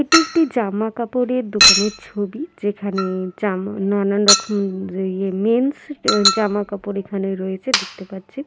এটি একটি জামা কাপড়ের দোকানের ছবি যেখানে-এ জামা নানান রকমের মেন্স জামা কাপড় এখানে রয়েছে দেখতে পাচ্ছি ।